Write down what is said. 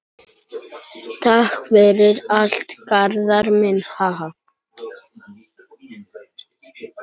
Takk fyrir allt, Garðar minn.